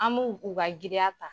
An m'u u ka giriya ta.